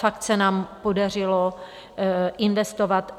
Fakt se nám podařilo investovat.